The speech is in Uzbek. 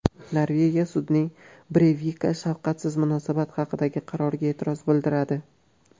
Norvegiya sudning Breyvikka shafqatsiz munosabat haqidagi qaroriga e’tiroz bildiradi.